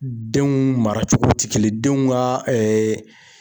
Denw mara cogo tɛ kelen denw ka